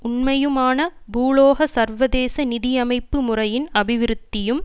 உண்மையான பூகோள சர்வதேச நிதி அமைப்பு முறையின் அபிவிருத்தியும்